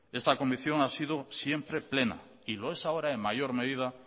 esta convicción ha sido siempre plena y lo es ahora en mayor medida